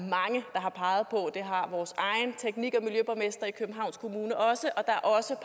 har peget på det har vores egen teknik og miljøborgmester i københavns kommune også og der er også